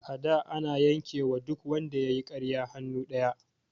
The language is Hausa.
A da ana yanke wa duk wanda yayi ƙarya hannu ɗaya